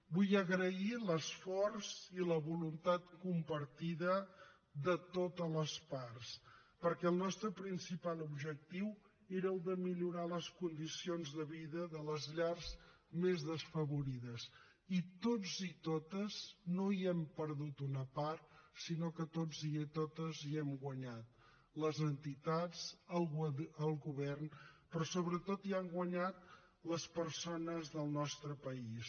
vull agrair l’esforç i la voluntat compartida de totes les parts perquè el nostre principal objectiu era el de millorar les condicions de vida de les llars més desfavorides i tots i totes no hi hem perdut una part sinó que tots i totes hi hem guanyat les entitats el govern però sobretot hi han guanyat les persones del nostre país